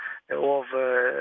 of